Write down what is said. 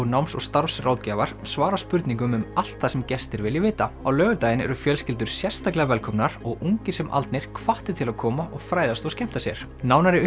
náms og starfsráðgjafar svara spurningum um allt það sem gestir vilja vita á laugardaginn eru fjölskyldur sérstaklega velkomnar og ungir sem aldnir hvattir til að koma og fræðast og skemmta sér nánari